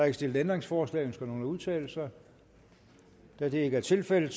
ikke stillet ændringsforslag ønsker nogen at udtale sig da det ikke er tilfældet